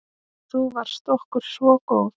Þú varst okkur svo góð.